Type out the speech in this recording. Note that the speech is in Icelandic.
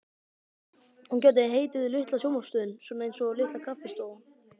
Hún gæti heitið Litla sjónvarpsstöðin, svona einsog Litla kaffistofan.